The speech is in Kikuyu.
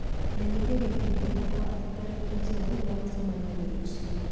menyithia gĩkundi gĩakwa atĩ tarĩki njerũ ya mũcemanio nĩ rũciũ